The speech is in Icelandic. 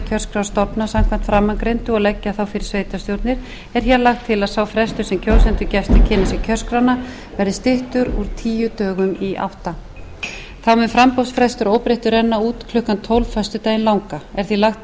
kjörskrárstofna samkvæmt framangreindu og leggja þá fyrir sveitarstjórnir er hér lagt til að sá frestur sem kjósendum gefst til að kynna sér kjörskrána verði styttur úr tíu dögum í átta þá mun framboðsfrestur að óbreyttu renna út klukkan tólf á föstudaginn langa er því lagt